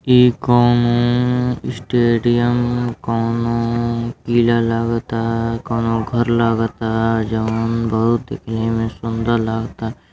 ई कौनो स्टेडियम कौनो किला लागता कौनो घर लागता। जौन बहोत एमे सुंदर लागता।